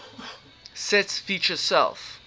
sets feature self